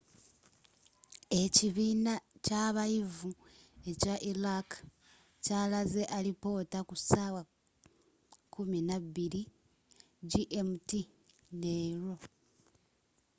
ekibiina kyabayivu ekya iraq kyalaze alipoota ku saawa 12.00 gmt leero